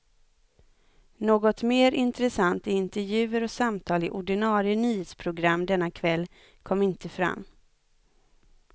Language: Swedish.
Något mer intressant i intervjuer och samtal i ordinarie nyhetsprogram denna kväll kom inte fram.